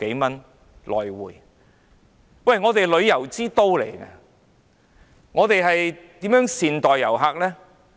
香港作為旅遊之都，應如何善待遊客呢？